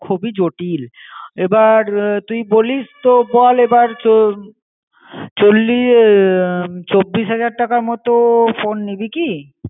খুবই জটিল. এবার তুই বলিস তো বল এবার চলি~ এ চব্বিশ হাজার টাকা মতো ফোন নিবি কী